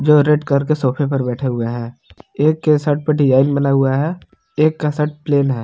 जो रेड कर के सोफे पर बैठे हुए हैं एक के शर्ट पे डिजाइन बना हुआ है एक का शर्ट प्लेन है।